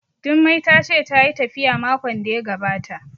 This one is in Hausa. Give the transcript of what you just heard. Jummai ta ce tayi tafiya makon da ya gabata